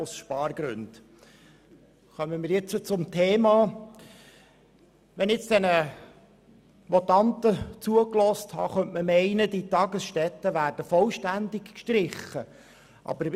Angesichts der Voten hätte ich zum Schluss kommen und sagen können, dass die Tagesstätten vollständig gestrichen werden.